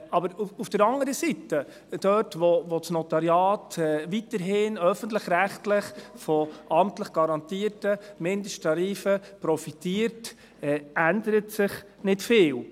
Aber auf der anderen Seite ändert sich dort, wo das Notariat weiterhin öffentlich-rechtlich von amtlich garantierten Mindesttarifen profitiert, nicht viel.